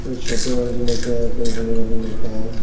कोई छोटे वाले लेके आए कोई बड़े वाले लेके आए हैं